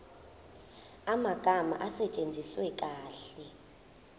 amagama asetshenziswe kahle